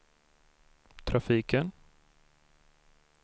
trafiken